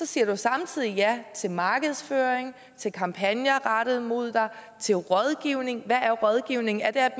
siger du samtidig ja til markedsføring til kampagner rettet mod dig til rådgivning og hvad er rådgivning er det at